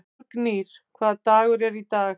Þórgnýr, hvaða dagur er í dag?